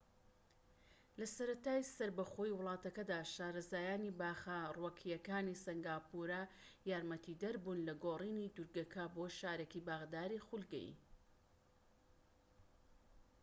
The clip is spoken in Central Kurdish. لە سەرەتای سەربەخۆیی وڵاتەکەدا شارەزایانی باخە ڕووەکیەکانی سەنگاپورە یارمەتیدەر بوون لە گۆڕینی دورگەکە بۆ شارێکی باخداری خولگەیی